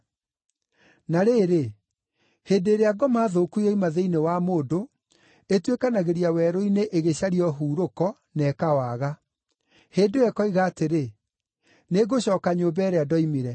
“Na rĩrĩ, hĩndĩ ĩrĩa ngoma thũku yoima thĩinĩ wa mũndũ, ĩtuĩkanagĩria werũ-inĩ ĩgĩcaria ũhurũko na ĩkawaga. Hĩndĩ ĩyo ĩkoiga atĩrĩ, ‘Nĩngũcooka nyũmba ĩrĩa ndoimire.’